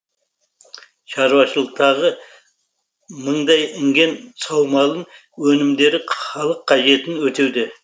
шаруашылықтағы мыңдай інген саумалын өнімдері халық қажетін өтеуде